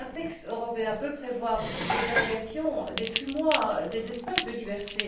Un texte européen peut prévoir des dérogations, des fumoirs, des espaces de liberté.